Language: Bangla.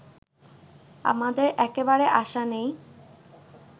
আমাদের একেবারে আশা নেই